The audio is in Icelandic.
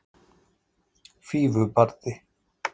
Fífubarði